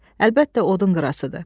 Əlbəttə odun qırasıdır.